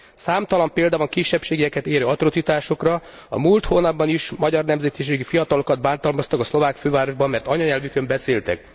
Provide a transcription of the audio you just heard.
Számtalan példa van kisebbségeket érő atrocitásokra a múlt hónapban is magyar nemzetiségű fiatalokat bántalmaztak a szlovák fővárosban, mert anyanyelvükön beszéltek.